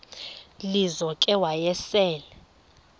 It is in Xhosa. lizo ke wayesel